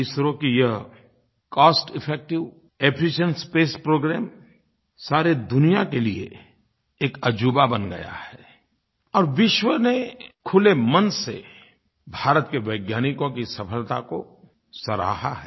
इसरो का यह cost effective efficient space program सारी दुनिया के लिये एक अजूबा बन गया है और विश्व ने खुले मन से भारत के वैज्ञानिकों की सफलता को सराहा है